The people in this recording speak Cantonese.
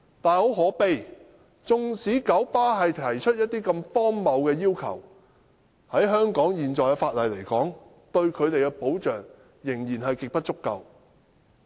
但很可悲的是，即使九巴提出的要求如此荒謬，但香港現時的法例對他們的保障仍然極不足夠。